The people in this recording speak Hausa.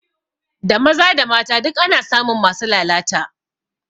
Da maza da mata duk ana samun masu lalata